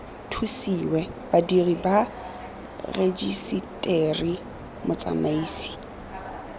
thusiwe badiri ba rejiseteri motsamaisi